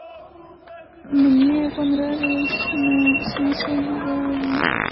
мне понравилось но смысл едва уловим